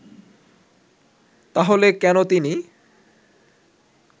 তাহলে কেন তিনি